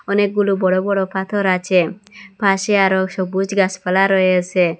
অনেকগুলো বড় বড় পাথর আছে পাশে আরও সবুজ গাসপালা রয়েসে।